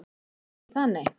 Ekki það nei.